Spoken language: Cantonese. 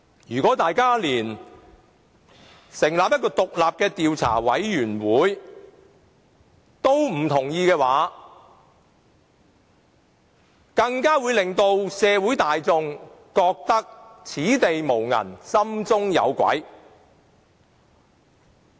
如果連成立獨立的調查委員會也不同意的話，只會令社會大眾覺得此地無銀，心中有鬼。